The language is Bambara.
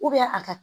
a ka